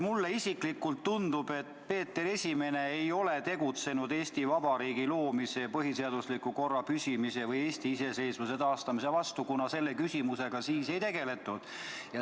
Mulle isiklikult tundub, et Peeter I ei ole tegutsenud Eesti Vabariigi loomise, põhiseadusliku korra püsimise ega Eesti iseseisvuse taastamise vastu, kuna selle küsimusega siis ei tegeldud.